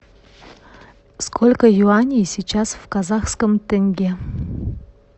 сколько юаней сейчас в казахском тенге